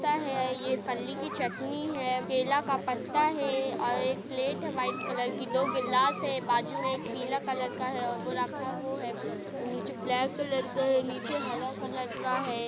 ये फल्ली की चटनी है केला का पत्ता है और एक प्लेट है | व्हाइट कलर की दो गिलास है बाजू में एक पीला कलर का है वो रक्खा वो है | नीचे ब्लैक कलर का है नीचे हरा कलर का है ।